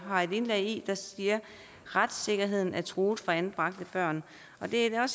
har et indlæg der siger at retssikkerheden er truet for anbragte børn det er